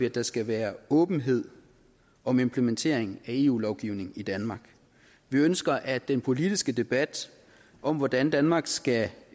at der skal være åbenhed om implementering af eu lovgivning i danmark vi ønsker at den politiske debat om hvordan danmark skal